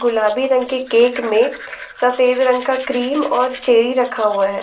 गुलाबी रंग के केक में सफेद रंग का क्रीम और चेरी रखा हुआ है।